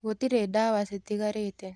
Gũtirĩdawa citigarĩte.